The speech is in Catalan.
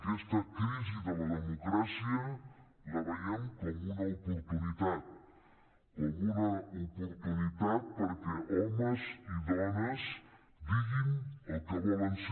aquesta crisi de la democràcia la veiem com una oportunitat com una oportunitat perquè homes i dones diguin el que volen ser